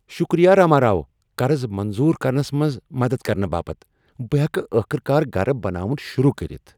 شُكریہ راما راو قرض منظور كرنس منز مدد کرنہ باپت ۔ بہٕ ہیکہٕ ٲخٕر کار گرٕ بناوُن شروع کٔرتھ ۔